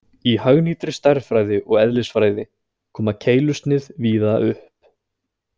Í hagnýtri stærðfræði og eðlisfræði koma keilusnið víða upp.